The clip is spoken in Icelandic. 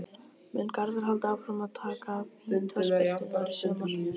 Mun Garðar halda áfram að taka vítaspyrnurnar í sumar?